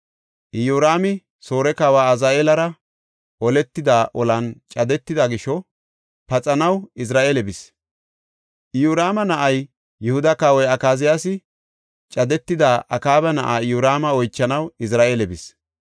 Iyoraami, Soore kawa Azaheelara oletida olan cadetida gisho paxanaw Izira7eele bis. Iyoraama na7ay, Yihuda kawoy, Akaziyaasi, cadetida Akaaba na7aa Iyoraama, oychanaw Izira7eele bis.